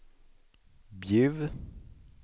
Bjuv